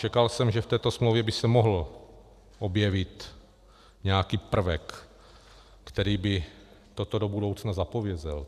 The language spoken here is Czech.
Čekal jsem, že v této smlouvě by se mohl objevit nějaký prvek, který by toto do budoucna zapovídal.